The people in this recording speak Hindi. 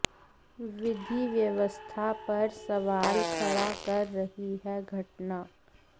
विधि व्यवस्था पर सवाल खड़ा कर रही है घटना